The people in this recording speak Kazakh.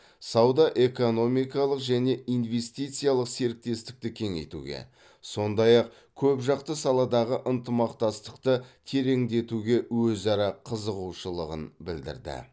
сауда экономикалық және инвестициялық серіктестікті кеңейтуге сондай ақ көпжақты саладағы ынтымақтастықты тереңдетуге өзара қызығушылығы білдірілді